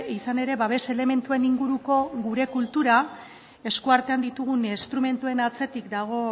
izan ere babes elementuen inguruko gure kultura eskuartean ditugun instrumentuen atzetik dago